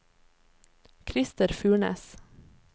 Christer Furnes